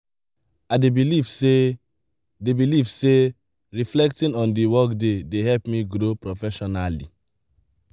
i dey believe say dey believe say reflecting on the workday dey help me grow professionally.